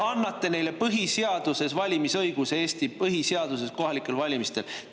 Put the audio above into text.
Te annate neile põhiseaduses, Eesti põhiseaduses, valimisõiguse kohalikel valimistel.